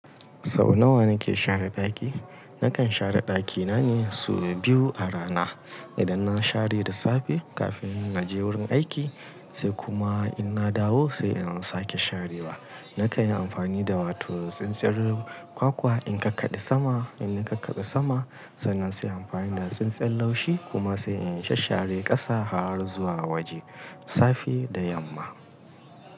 Sau nawa na ke share ɗaki? Na kan share ɗaki na ne sau biyu a rana. Idan na share da safe kafin na je wurin aiki sai kuma in na dawo sai in sake sharewa. Na kan yi amfani da wato tsintsiyar kwakwa in kakaɗe sama. In ni ka kaɗe sama, sannan sai amfani da tsintsiyar laushi kuma sai in shasshare ƙasa har zuwa waje. Safe da yamma.